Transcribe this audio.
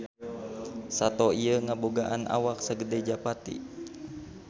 Sato ieu ngabogaan awak sagede japati.